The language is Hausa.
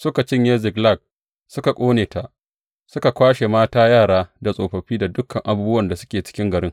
Suka cinye Ziklag, suka ƙone ta, suka kwashe mata, yara da tsofaffi da dukan abubuwan da suke cikin garin.